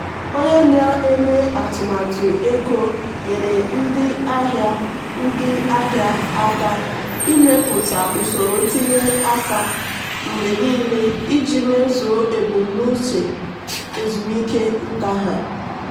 onye na-eme atụmatụ ego nyeere ndị ahịa ndị ahịa aka ịmepụta usoro ntinye aka mgbe niile iji mezuo ebumnuche ezumike nka ha.